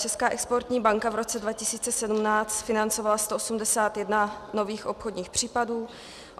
Česká exportní banka v roce 2017 financovala 181 nových obchodních případů.